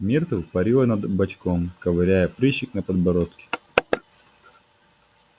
миртл парила над бачком ковыряя прыщик на подбородке